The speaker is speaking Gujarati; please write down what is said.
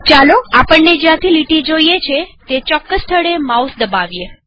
ચાલો આપણને જ્યાંથી લીટી જોઈએ છે તે ચોક્કસ સ્થળે માઉસ દબાવીએ